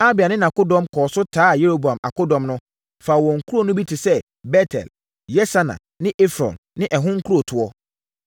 Abia ne nʼakodɔm kɔɔ so taa Yeroboam akodɔm no, faa wɔn nkuro no bi te sɛ Bet-El, Yesana ne Efron ne ɛho nkurotoɔ.